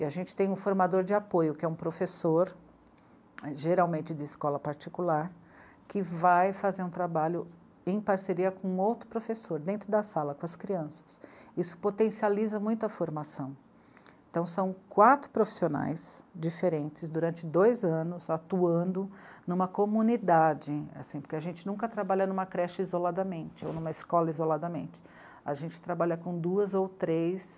e a gente tem um formador de apoio que é um professor geralmente de escola particular que vai fazer um trabalho em parceria com outro professor dentro da sala com as crianças isso potencializa muito a formação então são quatro profissionais diferentes durante dois anos atuando em uma comunidade, assim, porque a gente nunca trabalha em uma creche isoladamente ou numa escola isoladamente a gente trabalha com duas ou três